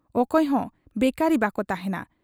ᱚᱠᱚᱭᱦᱚᱸ ᱵᱮᱠᱟᱨᱤ ᱵᱟᱠᱚ ᱛᱟᱦᱮᱸᱱᱟ ᱾